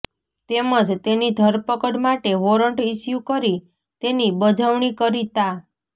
તેમજ તેની ધરપકડ માટે વોરન્ટ ઈસ્યુ કરી તેની બજવણી કરી તા